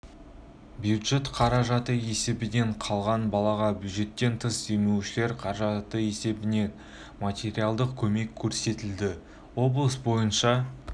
бюджет қаражаты есебінен қалған балаға бюджеттен тыс демеушілер қаражаты есебінен материалдық көмек көрсетілді облыс бойынша